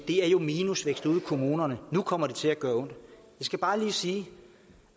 er minusvækst ude i kommunerne nu kommer det til at gøre ondt jeg skal bare lige sige